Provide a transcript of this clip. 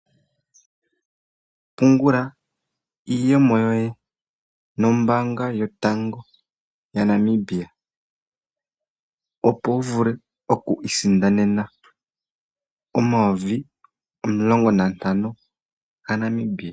Pungula iiyemo yoye nombaanga yotango yaNamibia. Opo wu vule oku isindanena omayovi omulongo nantano gaNamibia.